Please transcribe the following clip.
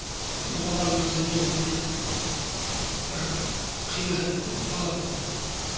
бұл бала өзі негізінде бір қиындығы көп бала болды